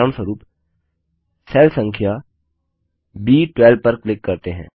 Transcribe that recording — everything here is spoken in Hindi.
उदाहरणस्वरूप सेल संख्या ब12 पर क्लिक करते हैं